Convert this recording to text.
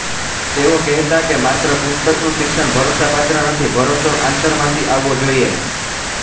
તેઓ કહેતા કે માત્ર પુસ્તકનું શિક્ષણ ભરોસાપાત્ર નથી ભરોસો આંતરમાંથી આવવો જોઈએ